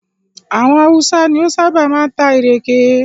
Àwọn Hausa ni ó ṣábà máa ń ta ìrèké.